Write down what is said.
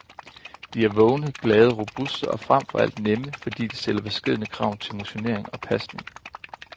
De er vågne, glade, robuste og frem for alt nemme, fordi de stiller beskedne krav til motionering og pasning.